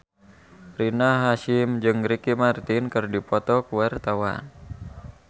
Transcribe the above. Rina Hasyim jeung Ricky Martin keur dipoto ku wartawan